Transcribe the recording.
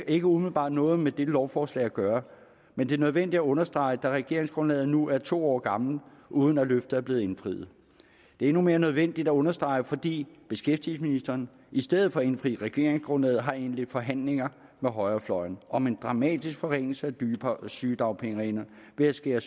ikke umiddelbart noget med dette lovforslag at gøre men det er nødvendigt at understrege da regeringsgrundlaget nu er to år gammelt uden at løftet er blevet indfriet det er endnu mere nødvendigt at understrege fordi beskæftigelsesministeren i stedet for at indfri regeringsgrundlaget har indledt forhandlinger med højrefløjen om en dramatisk forringelse af sygedagpengereglerne ved at skære